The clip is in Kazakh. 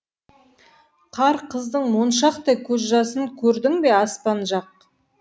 қар қыздың моншақтай көз жасын көрдің бе аспан жақ